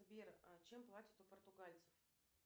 сбер чем платят у португальцев